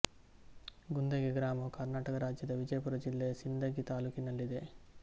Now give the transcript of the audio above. ಗುಂದಗಿ ಗ್ರಾಮವು ಕರ್ನಾಟಕ ರಾಜ್ಯದ ವಿಜಯಪುರ ಜಿಲ್ಲೆಯ ಸಿಂದಗಿ ತಾಲ್ಲೂಕಿನಲ್ಲಿದೆ